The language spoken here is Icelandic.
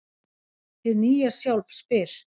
Hið nýja sjálf spyr: